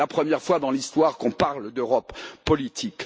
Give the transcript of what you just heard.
C'est la première fois dans l'histoire qu'on parle d'Europe politique.